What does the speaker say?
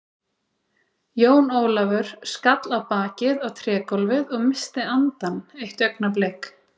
Jón Ólafur skall á bakið á trégólfið og missti andann eitt augnablik.